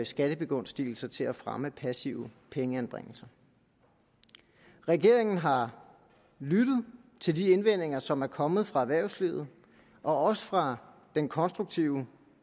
skattebegunstigelser til at fremme passive pengeanbringelser regeringen har lyttet til de indvendinger som er kommet fra erhvervslivet og også fra den konstruktive